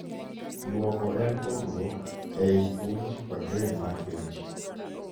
Duoko en pogruok ei puonj kod rem mar penj